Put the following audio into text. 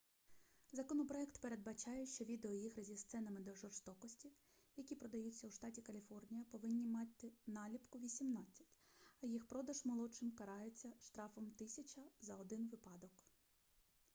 законопроект передбачає що відеоігри зі сценами жорстокості які продаються у штаті каліфорнія повинні мати наліпку 18 а їх продаж молодшим карається штрафом 1000 за один випадок